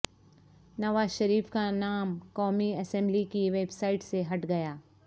نوازشریف کا نام قومی اسمبلی کی ویب سائٹ سے ہٹ گیا